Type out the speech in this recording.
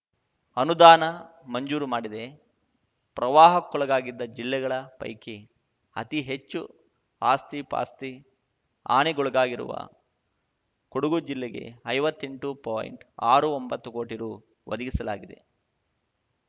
ಅನುದಾನ ಮಂಜೂರು ಮಾಡಿದೆ ಪ್ರವಾಹಕ್ಕೊಳಗಾಗಿದ್ದ ಜಿಲ್ಲೆಗಳ ಪೈಕಿ ಅತಿ ಹೆಚ್ಚು ಆಸ್ತಿಪಾಸ್ತಿ ಹಾನಿಗೊಳಗಾಗಿರುವ ಕೊಡಗು ಜಿಲ್ಲೆಗೆ ಐವತ್ತೆಂಟು ಪಾಯಿಂಟ್ಆರು ಒಂಬತ್ತು ಕೋಟಿ ರು ಒದಗಿಸಲಾಗಿದೆ